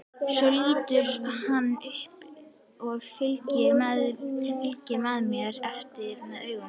Svo lítur hann upp og fylgir mér eftir með augunum.